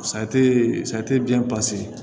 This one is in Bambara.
biyɛn